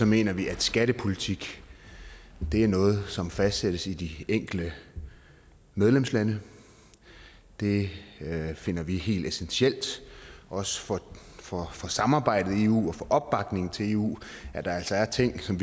mener vi at skattepolitik er noget som fastsættes i de enkelte medlemslande vi finder det helt essentielt også for for samarbejdet i eu og for opbakningen til eu at der altså er ting som